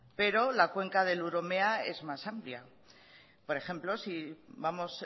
pero la cuenca del urumea es más amplia por ejemplo si vamos